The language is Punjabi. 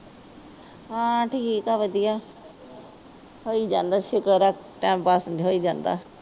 ਹਾਂ ਠੀਕ ਹੈ ਵਧੀਆ। ਹੋਈ ਜਾਂਦਾ ਸੁੱਕਰ ਹੈ ਟਾਈਮ ਪਾਸ ਸਹੀ ਗੱਲ।